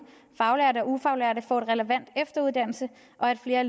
faglærte og ufaglærte får relevant efteruddannelse og at flere